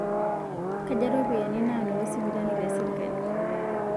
Kaja ropiyan naanoto sipitali te sirkali